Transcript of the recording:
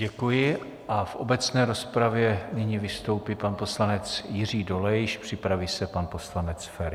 Děkuji a v obecné rozpravě nyní vystoupí pan poslanec Jiří Dolejš, připraví se pan poslanec Feri.